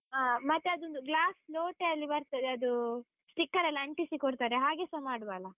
ಹಾ ಮತ್ತೆ ಅದೊಂದು glass ಲೋಟೆಯಲ್ಲಿ ಬರ್ತದೆ, ಅದು sticker ಎಲ್ಲ ಅಂಟಿಸಿ ಕೊಡ್ತಾರೆ, ಹಾಗೆಸ ಮಾಡುವ ಅಲ?